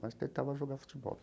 Mas tentava jogar futebol.